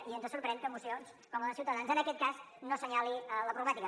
i ens sorprèn que mocions com la de ciutadans en aquest cas no assenyalin la problemàtica